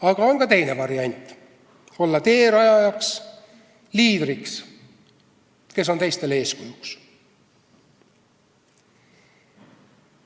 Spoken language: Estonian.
Aga on ka teine variant: olla teerajaja, liider, kes on teistele eeskujuks.